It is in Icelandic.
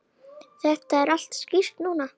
Þetta er allt skýrt núna.